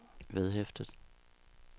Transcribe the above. vedhæftet